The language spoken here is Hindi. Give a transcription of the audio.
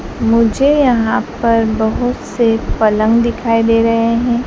मुझे यहां पर बहोत से पलंग दिखाई दे रहे है।